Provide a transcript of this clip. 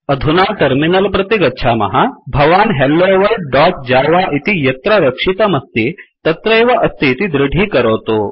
अधुना टर्मिनल प्रति गच्छामः भवान् helloworldजव इति यत्र रक्षितमस्ति तत्रैव अस्ति इति दृढीकरोतु